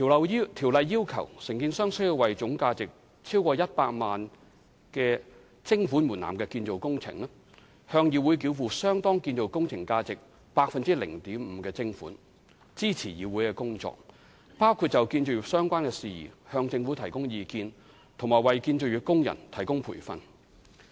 該條例要求承建商須為總價值超過100萬元徵款門檻的建造工程，向議會繳付相當於建造工程價值 0.5% 的徵款，以支持議會的工作，包括就建造業相關事宜向政府提供意見，以及為建造業工人提供培訓。